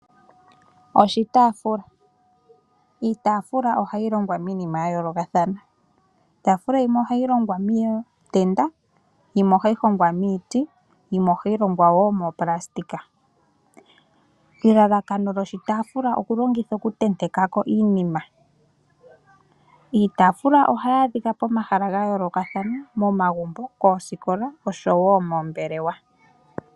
Oshitaafula iitaafula ohayi longwa miilongwa miinima yaayoolokathana iitafula yimwe ohayi longwa miitenda yimwe ohayi hongwa miiti yimwe ohayi longwa wo mooplastika elalakano kyoshitaafula oku longithwa okuntenteka ko iinima iitafula ohayi adhika pomahala pomahala gayoolokathana momagumbo, poosikola oshowo poombelewa.